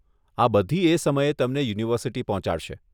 આ બધી એ સમયે તમને યુનિવર્સીટી પહોંચાડશે.